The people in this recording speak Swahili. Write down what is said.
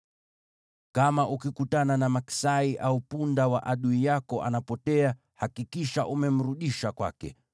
“Kama ukikutana na maksai au punda wa adui yako anapotea, hakikisha umemrudisha kwake.